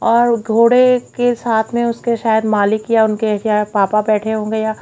और घोड़े के साथ में उसके साथ मलिक या उनके पापा बैठे होंगे या--